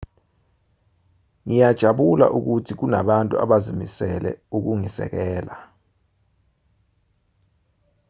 ngiyajabula ukuthi kunabantu abazimisele ukungisekela